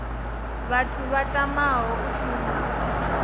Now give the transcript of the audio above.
vhathu vha tamaho u shuma